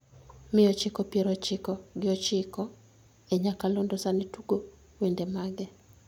mia ochiko pier ochiko gi ochiko e nyakalondo sani tugo wende mage